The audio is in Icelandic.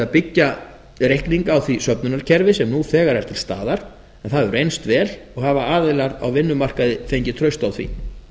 að byggja reikninga á því söfnunarkerfi sem nú þegar er til staðar en það hefur reynst vel og hafa aðilar á vinnumarkaði fengið traust á því